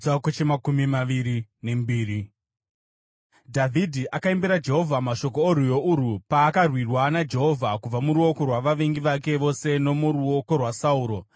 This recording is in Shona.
Dhavhidhi akaimbira Jehovha mashoko orwiyo urwu paakarwirwa naJehovha kubva muruoko rwavavengi vake vose nomuruoko rwaSauro.